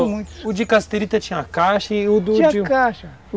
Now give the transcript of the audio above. o de cassiterita tinha caixa e o do de... Tinha caixa.